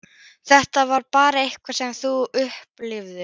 Þetta var bara eitthvað sem þau upplifðu.